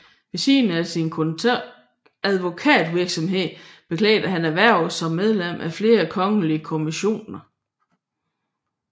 Ved siden af sin advokatvirksomhed beklædte han hverv som medlem af flere kongelige kommissioner